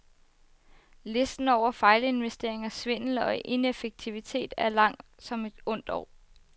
Listen over fejlinvesteringer, svindel og ineffektivitet er lang som et ondt år.